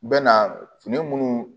Bɛ na fini minnu